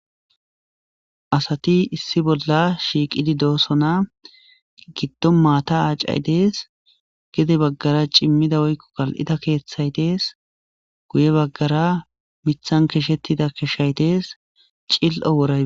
Asati issi bolla shiiqidi doosona giddo maata aacay dees gede baggara cimmida woykko kal'ida keeththay dees guye baggara mithan keshettida keshay dees cil'o wora.